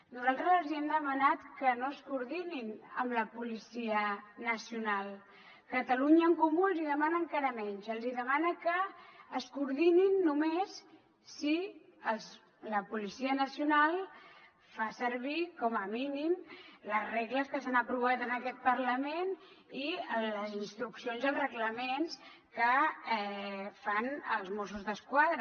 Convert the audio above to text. nosaltres els hem demanat que no es coordinin amb la policia nacional catalunya en comú els demana encara menys els demana que es coordinin només si la policia nacional fa servir com a mínim les regles que s’han aprovat en aquest parlament i les instruccions dels reglaments que fan els mossos d’esquadra